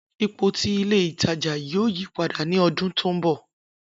Ipo ti ile itaja yoo yipada ni ọdun to nbọ.